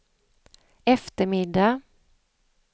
eftermiddag